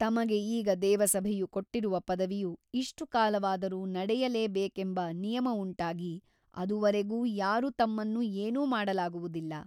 ತಮಗೆ ಈಗ ದೇವಸಭೆಯು ಕೊಟ್ಟಿರುವ ಪದವಿಯು ಇಷ್ಟುಕಾಲವಾದರೂ ನಡೆಯಲೇಬೇಕೆಂಬ ನಿಯಮವುಂಟಾಗಿ ಅದುವರೆಗೂ ಯಾರೂ ತಮ್ಮನ್ನು ಏನೂ ಮಾಡಲಾಗುವುದಿಲ್ಲ.